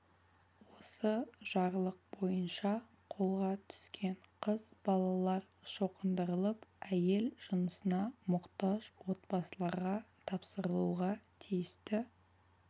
осы жарлық бойынша қолға түскен қыз балалар шоқындырылып әйел жынысына мұқтаж отбасыларға тапсырылуға тиісті